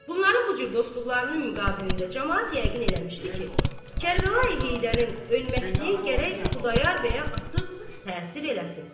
Bunların bu cür dostluqlarının müqabilində camaat yəqin eləmişdi ki, Kərbəlayı Heydərin ölməkliyi gərək Xudayar bəyə artıq təsir eləsin.